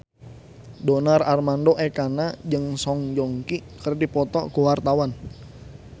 Donar Armando Ekana jeung Song Joong Ki keur dipoto ku wartawan